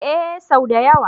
Ee sau da yawa.